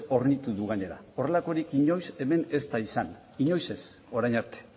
hornitu du gainera horrelakorik hemen inoiz ez da izan inoiz ez orain arte